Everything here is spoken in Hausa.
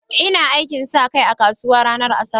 Ina aikin sa kai a kasuwa ranar Asabar.